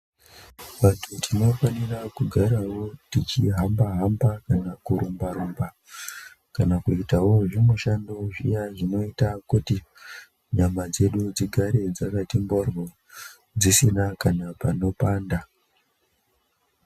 Vantu tinofanira kugarawo techihamba hamba kana kurumba rumba kana kuitawo zvimushando zviya zvinoita kuti nyama dzedu dzigarewo dzakati mhorwo dzisina kana panopanda.